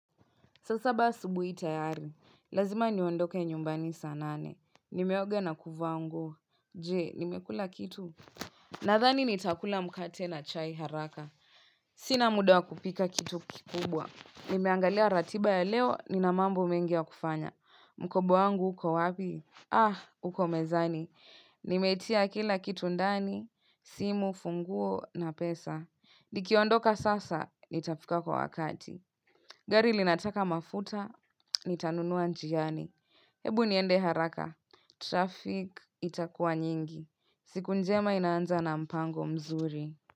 Saa saba asubuhi tayari, lazima niondoke nyumbani saa nane. Nimeoga na kuvaa nguo, je, nimekula kitu? Nadhani nitakula mkate na chai haraka. Sina muda wa kupika kitu kikubwa. Nimeangalia ratiba ya leo, nina mambo mengi ya kufanya. Mkoba wangu, uko wapi? Ah, uko mezani. Nimetia kila kitu ndani, simu, funguo na pesa. Nikiondoka sasa, nitafika kwa wakati. Gari linataka mafuta, nitanunua njiani. Hebu niende haraka. Traffic itakuwa nyingi. Siku njema inaanza na mpango mzuri.